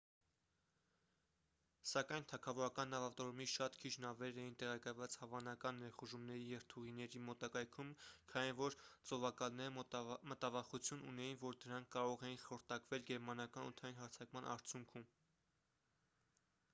սակայն թագավորական նավատորմի շատ քիչ նավեր էին տեղակայված հավանական ներխուժումների երթուղիների մոտակայքում քանի որ ծովակալները մտավախություն ունեին որ դրանք կարող էին խորտակվել գերմանական օդային հարձակման արդյունքում